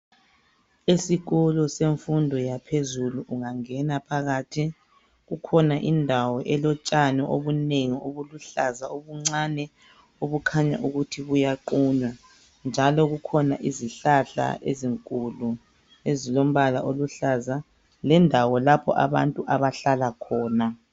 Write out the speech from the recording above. Esikolo semfundo yaphezulu ungangena phakathi, kukhona indawo elotshani obunengi obuluhlaza obuncane obukhanya ukuthi buyaqunywa, njalo kukhona izihlahla ezinkulu ezilombala oluhlaza lendawo lapho abantu abahlala khona.